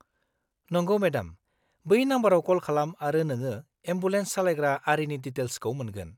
नंगौ, मेडाम, बै नम्बरआव कल खालाम आरो नोङो एम्बुलेन्स सालायग्रा आरिनि डिटेल्सखौ मोनगोन।